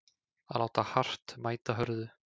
Að láta hart mæta hörðu